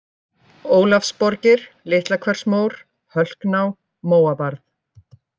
Ólafsborgir, Litlahversmór, Hölkná, Móabarð